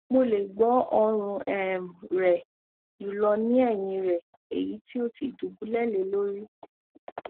mo le gbo orun um rẹ julọ ni ẹhin rẹ eyiti o ti dubulẹ lori